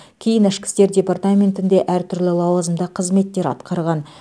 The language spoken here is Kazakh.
кейін ішкі істер департаментінде әртүрлі лауазымда қызметтер атқарған